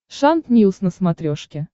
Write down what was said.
шант ньюс на смотрешке